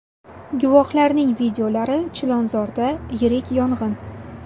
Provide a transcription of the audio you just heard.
Guvohlarning videolari Chilonzorda yirik yong‘in.